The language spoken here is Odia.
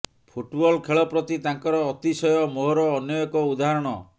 ଫୁଟବଲ୍ ଖେଳପ୍ରତି ତାଙ୍କର ଅତିଶୟ ମୋହର ଅନ୍ୟ ଏକ ଉଦାହରଣ